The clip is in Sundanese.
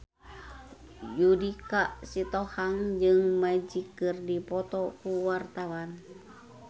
Judika Sitohang jeung Magic keur dipoto ku wartawan